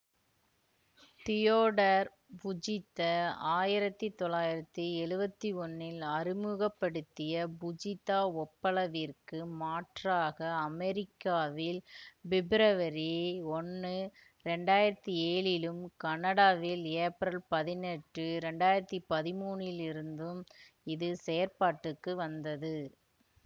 Theodore Fujita ஆயிரத்தி தொள்ளாயிரத்தி எழுவத்தி ஒன்னில் அறிமுக படுத்திய புஜித்தா ஒப்பளவிற்கு மாற்றாக அமெரிக்காவில் பிப்ரவரி ஒன்னு இரண்டாயிரத்தி ஏழிலும் கனடாவில் ஏப்ரல் பதினெட்டு இரண்டாயிரத்தி பதிமூனிலிருந்தும் இது செயற்பாட்டுக்கு வந்தது